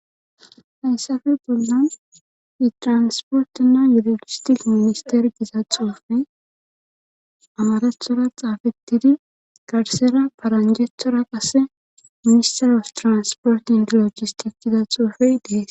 hayssappe bollan itransportina yulogistik minister giza xuufe amarethora xaafetidi garsera paranjethora qase ministerof transport indilogis tikida xuufey deese